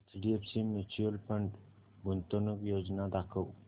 HDFC mutual fund गुंतवणूक योजना दाखव